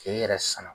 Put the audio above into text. K'e yɛrɛ sanna